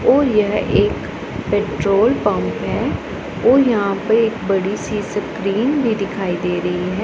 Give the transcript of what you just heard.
और यह एक पेट्रोल पंप है और यहां पे एक बड़ी सी स्क्रीन भी दिखाई दे रही है।